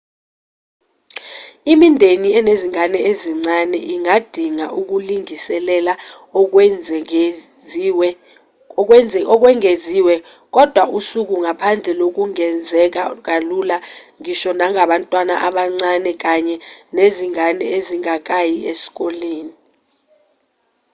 imindeni enezingane ezincane ingadinga ukulingiselela okwengeziwe kodwa usuku ngaphandle lungenzeka kalula ngisho nangabantwana abancane kanye nezingane ezingakayi esikoleni